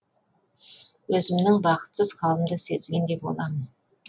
өзімнің бақытсыз халімді сезгендей боламын